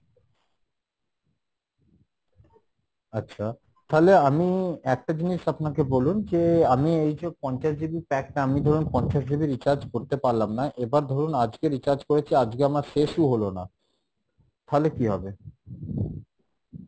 আচ্ছা তাহলে আমি একটা জিনিস আপনাকে বলুন যে আমি এইযে পঞ্চাশ GB pack টা আমি ধরুন পঞ্চাশ GB recharge করতে পারলাম না এবার ধরুন আজকে recharge করেছি আজকে আমার শেষই হলো না তাহলে কী হবে?